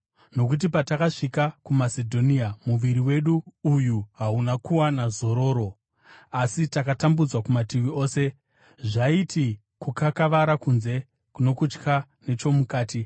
Nokuti patakasvika kuMasedhonia, muviri wedu uyu hauna kuwana zororo, asi takatambudzwa kumativi ose, zvaiti kukakavara kunze, nokutya nechomukati.